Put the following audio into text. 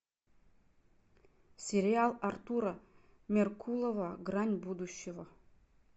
сериал артура меркулова грань будущего